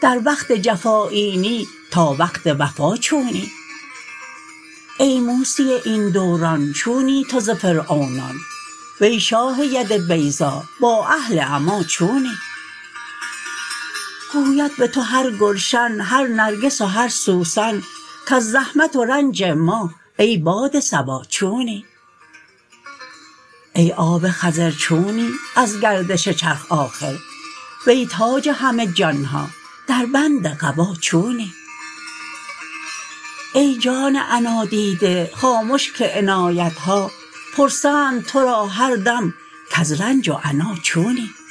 در وقت جفا اینی تا وقت وفا چونی ای موسی این دوران چونی تو ز فرعونان وی شاه ید بیضا با اهل عمی چونی گوید به تو هر گلشن هر نرگس و هر سوسن کز زحمت و رنج ما ای باد صبا چونی ای آب خضر چونی از گردش چرخ آخر وی تاج همه جان ها دربند قبا چونی ای جان عنادیده خامش که عنایت ها پرسند تو را هر دم کز رنج و عنا چونی